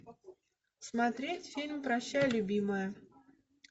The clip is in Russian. смотреть фильм прощай любимая